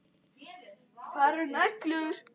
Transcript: Hvað eru neglur?